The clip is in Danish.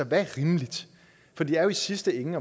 der er rimeligt for det er jo i sidste ende